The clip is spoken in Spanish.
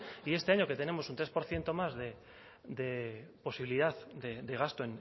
y este año que tenemos un tres por ciento más de posibilidad de gasto